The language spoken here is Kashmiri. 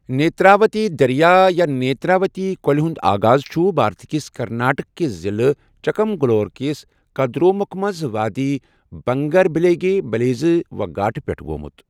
نیتراوتی دریا یا نیتراوتی کۅلہِ ہُند آغاز چھُ بھارت کِس کرناٹک کِس ضلع چکمگلورو کِس کدرمکھ منٛز وادی بنگریبلیگے، یلینیرو گھاٹہٕ پٮ۪ٹھ گوٚمُت۔